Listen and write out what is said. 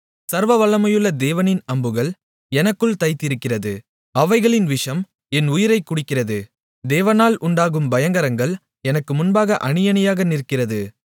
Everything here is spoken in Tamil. சர்வவல்லமையுள்ள தேவனின் அம்புகள் எனக்குள் தைத்திருக்கிறது அவைகளின் விஷம் என் உயிரைக் குடிக்கிறது தேவனால் உண்டாகும் பயங்கரங்கள் எனக்கு முன்பாக அணியணியாக நிற்கிறது